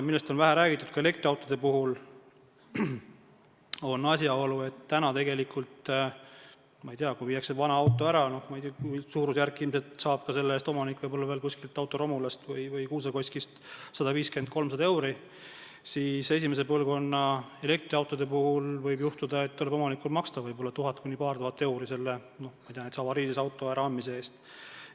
Millest on vähe räägitud ka elektriautode puhul, on asjaolu, et kui viiakse vana auto ära, siis omanik saab selle eest kuskilt romulast või Kuusakoskist 150–300 eurot, kuid esimese põlvkonna elektriauto puhul võib juhtuda, et omanikul tuleb maksta 1000–2000 eurot avariilise auto äraandmise eest.